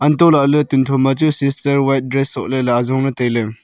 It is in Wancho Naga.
antolaley tun thoma chu sister white dress sohley ley azongley tailey.